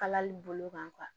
Kalali bolo kan kuwa